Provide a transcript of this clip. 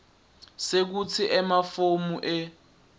sekutsi emafomu e